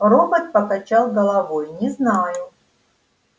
робот покачал головой не знаю